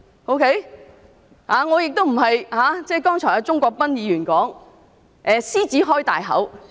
我並非如鍾國斌議員剛才說的"獅子開大口"。